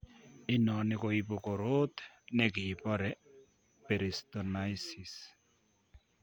Inoni koibu koroot nekibore peritonisis